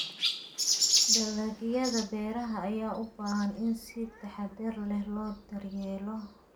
Dalagyada beeraha ayaa u baahan in si taxadar leh loo daryeelo.